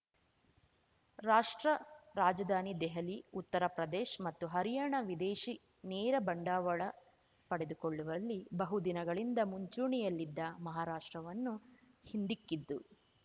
ರಾಷ್ಟ್ರ ರಾಜಧಾನಿ ದೆಹಲಿ ಉತ್ತರ ಪ್ರದೇಶ್ ಮತ್ತು ಹರಿಯಾಣ ವಿದೇಶಿ ನೇರ ಬಂಡವಾಳ ಪಡೆದುಕೊಳ್ಳುವಲ್ಲಿ ಬಹುದಿನಗಳಿಂದ ಮುಂಚೂಣಿಯಲ್ಲಿದ್ದ ಮಹಾರಾಷ್ಟ್ರವನ್ನು ಹಿಂದಿಕ್ಕಿದ್ದು